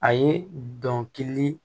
A ye dɔnkili